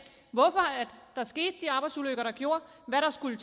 hvorfor der skete de arbejdsulykker der gjorde hvad der skulle